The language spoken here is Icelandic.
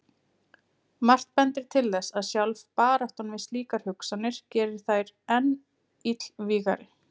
Margt bendir til þess að sjálf baráttan við slíkar hugsanir geri þær enn illvígari.